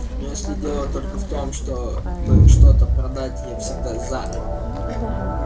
но если дело только в том чтобы что-то продать я всегда за